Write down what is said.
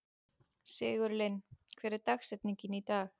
Sigurlinn, hver er dagsetningin í dag?